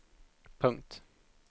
punkt